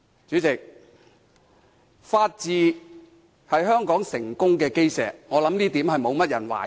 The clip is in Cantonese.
主席，法治是香港成功的基石，我相信這點沒有人懷疑。